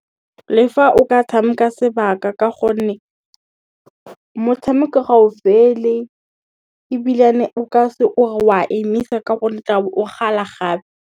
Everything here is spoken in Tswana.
Le fa o ka tshameka sebaka ka gonne, motshameko ga o fele ebilane o ka se o re a emisa ka gonne tla bo o kgala gape.